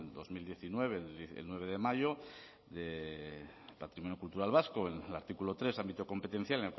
dos mil diecinueve el nueve de mayo de patrimonio cultural vasco en el artículo tres ámbito competencial